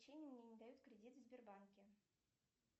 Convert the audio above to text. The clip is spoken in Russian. мне не дают кредит в сбербанке